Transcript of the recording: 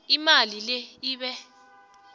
imali le ibe